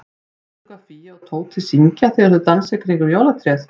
Veistu hvað Fía og Tóti syngja þegar þau dansa í kringum jólatréð?